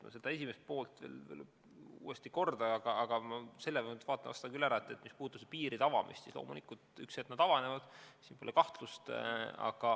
Ma vastust esimesele poolele uuesti ei korda, aga selle ma vastan küll ära, et mis puudutab piiride avamist, siis loomulikult ühel hetkel need avanevad, selles pole kahtlust.